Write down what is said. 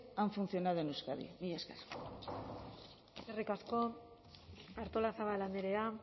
han funcionado en euskadi mila esker eskerrik asko artolazabal andrea